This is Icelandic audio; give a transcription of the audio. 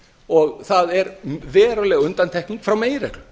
og það er veruleg undantekning frá meginreglu